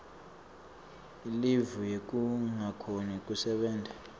ilivu yekungakhoni kusebenta